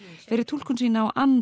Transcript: fyrir túlkun sína á